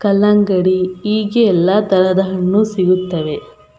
ಕಲ್ಲಂಗಡಿ ಹೀಗೆ ಎಲ್ಲಾ ತರದ ಹಣ್ಣು ಸಿಗುತ್ತದೆ .